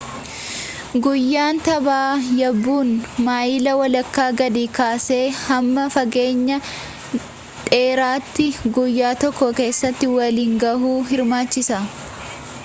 guyyaan tabba yaabun maayila walakka gadii kaasee hamma fageenya dheeratti guyyya tokko keessatti waliin gahuu hirmaachisa